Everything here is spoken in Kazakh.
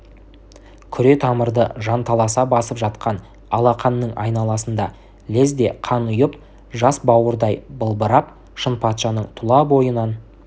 күре тамырды жанталаса басып жатқан алақанның айналасында лезде қан ұйып жас бауырдай былбырап шынпатшаның тұла бойынан